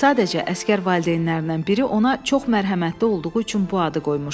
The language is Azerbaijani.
Sadəcə əsgər valideynlərindən biri ona çox mərhəmətli olduğu üçün bu adı qoymuşdu.